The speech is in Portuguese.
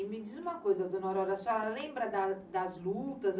E me diz uma coisa, dona Aurora, a senhora lembra da das lutas?